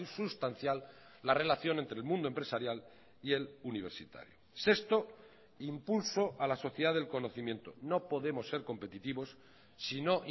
sustancial la relación entre el mundo empresarial y el universitario sexto impulso a la sociedad del conocimiento no podemos ser competitivos si no